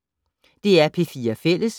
DR P4 Fælles